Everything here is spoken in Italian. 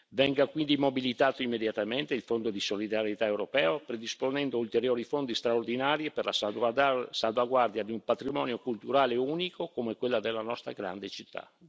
Venga quindi mobilitato immediatamente il Fondo di solidarietà europeo, predisponendo ulteriori fondi straordinari e per la salvaguardia di un patrimonio culturale unico come quello della nostra grande città.